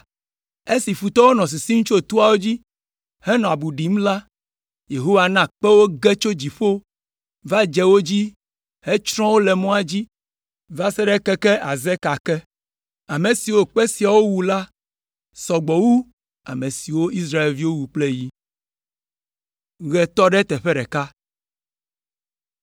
Esi futɔwo nɔ sisim tso toawo dzi henɔ abu ɖim la, Yehowa na kpewo ge tso dziƒo va dze wo dzi hetsrɔ̃ wo le mɔa dzi va se ɖe keke Azeka ke. Ame siwo kpe siawo wu la sɔ gbɔ wu ame siwo Israelviwo wu kple yi.